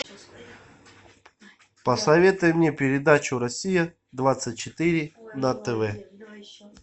посоветуй мне передачу россия двадцать четыре на тв